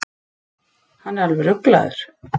Hann er alveg ruglaður.